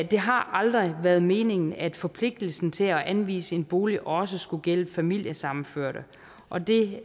det har aldrig været meningen at forpligtelsen til at anvise en bolig også skulle gælde familiesammenførte og det